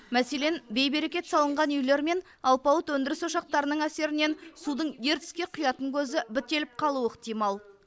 мәселен бейберекет салынған үйлер мен алпауыт өндіріс ошақтарының әсерінен судың ертіске құятын көзі бітеліп қалуы ықтимал